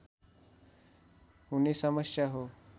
हुने समस्या हो